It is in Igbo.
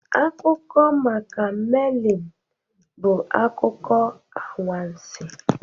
Akụkọ maka Melin bụ akụkọ anwansi